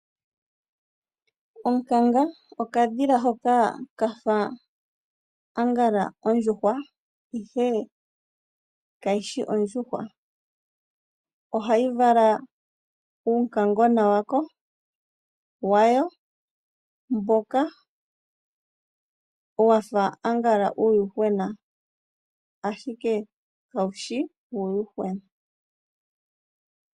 Onkanga, okadhila hoka kafa angala ondjuhwa ihe kayishi ondjuhwa. Ohayi vala uunkangona wayo mboka wafa aangala uuyuhwena ashike kawushi uuyuhwena.